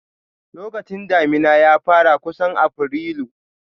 Lokacin damina ya fara kusan Afrilu.